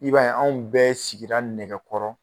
I b'a ye anw bɛɛ sigira nɛgɛkɔrɔ.